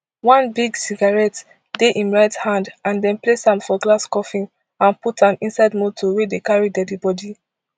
one big cigaratte dey for im right hand and dem place am for glass coffin and put am inside motor wey dey carry deadi bodi